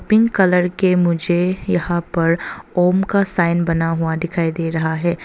Pink colour के मुझे यहां पर ओम का साइन बना हुआ दिखाई दे रहा है।